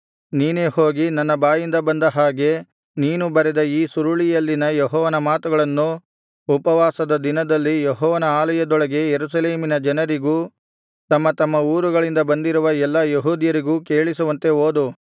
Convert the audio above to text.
ನೀನೇ ಹೋಗಿ ನನ್ನ ಬಾಯಿಂದ ಬಂದ ಹಾಗೆ ನೀನು ಬರೆದ ಈ ಸುರುಳಿಯಲ್ಲಿನ ಯೆಹೋವನ ಮಾತುಗಳನ್ನು ಉಪವಾಸದ ದಿನದಲ್ಲಿ ಯೆಹೋವನ ಆಲಯದೊಳಗೆ ಯೆರೂಸಲೇಮಿನ ಜನರಿಗೂ ತಮ್ಮ ತಮ್ಮ ಊರುಗಳಿಂದ ಬಂದಿರುವ ಎಲ್ಲಾ ಯೆಹೂದ್ಯರಿಗೂ ಕೇಳಿಸುವಂತೆ ಓದು